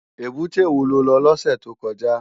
Ébùté wó ló lò lòsè tókòjá?